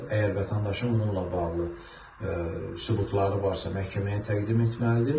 Əgər vətəndaşın onunla bağlı sübutları varsa, məhkəməyə təqdim etməlidir.